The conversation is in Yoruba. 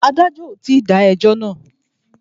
Adájọ́ ò tí dá ẹjọ́ náà.